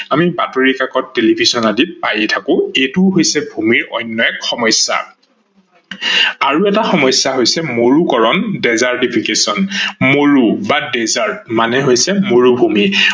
আমি বাতৰি ককাত, টেলিভিচন আদিত পায়েই থাকো, এইটো হৈছে ভূমিৰ অন্য এক সমস্যা । আৰু এটা সমস্যা হৈছে মৰুকৰন desertification মৰু বা desert মানে হৈছে মৰুভূমি।